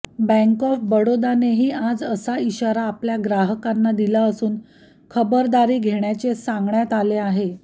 bank of बडोदानेही आज असा इशारा आपल्या ग्राहकांना दिलाअसून खबरदारी घेण्याचे सांगण्यात आले आहे